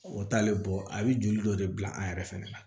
O t'ale bɔ a bɛ joli dɔ de bila an yɛrɛ fɛnɛ na